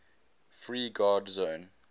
free guard zone